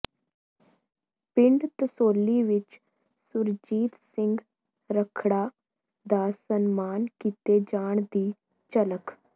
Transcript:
ਪਿੰਡ ਤਸੌਲੀ ਵਿੱਚ ਸੁਰਜੀਤ ਸਿੰਘ ਰੱਖੜਾ ਦਾ ਸਨਮਾਨ ਕੀਤੇ ਜਾਣ ਦੀ ਝਲਕ